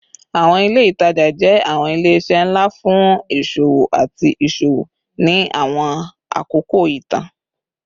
Awọn ile itaja jẹ awọn ile-iṣẹ nla fun iṣowo ati iṣowo ni awọn akoko itan